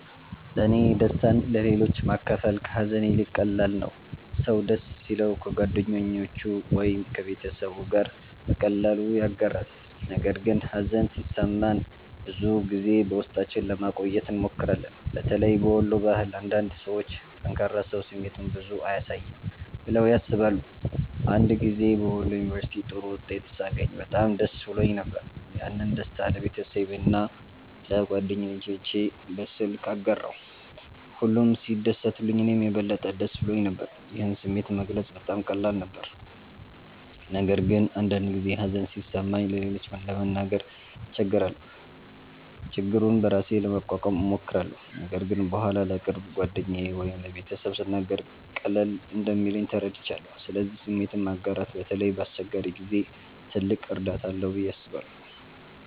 1ለእኔ ደስታን ለሌሎች ማካፈል ከሀዘን ይልቅ ቀላል ነው። ሰው ደስ ሲለው ከጓደኞቹ ወይም ከቤተሰቡ ጋር በቀላሉ ያጋራል፣ ነገር ግን ሀዘን ሲሰማን ብዙ ጊዜ በውስጣችን ለማቆየት እንሞክራለን። በተለይ በወሎ ባህል አንዳንድ ሰዎች “ጠንካራ ሰው ስሜቱን ብዙ አያሳይም” ብለው ያስባሉ። አንድ ጊዜ በወሎ ዩንቨርስቲ ጥሩ ውጤት ሳገኝ በጣም ደስ ብሎኝ ነበር። ያንን ደስታ ለቤተሰቤና ለጓደኞቼ በስልክ አጋራሁ፣ ሁሉም ሲደሰቱልኝ እኔም የበለጠ ደስ ብሎኝ ነበር። ይህን ስሜት መግለጽ በጣም ቀላል ነበር። ነገር ግን አንዳንድ ጊዜ ሀዘን ሲሰማኝ ለሌሎች ለመናገር እቸገራለሁ። ችግሩን በራሴ ለመቋቋም እሞክራለሁ፣ ነገር ግን በኋላ ለቅርብ ጓደኛ ወይም ለቤተሰብ ስናገር ቀለል እንደሚለኝ ተረድቻለሁ። ስለዚህ ስሜትን ማጋራት በተለይ በአስቸጋሪ ጊዜ ትልቅ እርዳታ አለው ብዬ አስባለሁ።